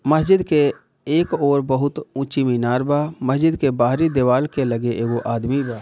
मस्जिद के एक और बहुत ऊंची मीनार बा मस्जिद के बाहरी दीवाल के लगे वो एगो आदमी बा |